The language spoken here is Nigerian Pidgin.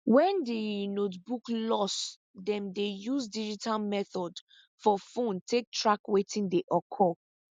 when diir notebook loss dem dey use digital method for phone take track wetin dey occur